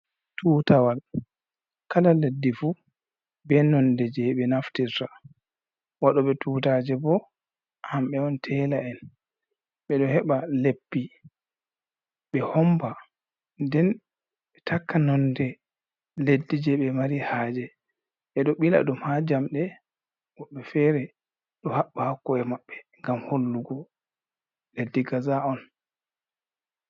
Tutawal kala leɗɗi fu be nonɗe je ɓe naftirta. Waɗo be tutaje bo hambe on tela en. Be do heɓa leppi ɓe homba. nden ɓe takka nonde leɗɗi je be mari haje. Be ɗo ɓila ɗum ha jamɗe. Woɓɓe fere ɗo haɓba hakko'e maɓɓe ngam hollugo leɗɗi kaza on.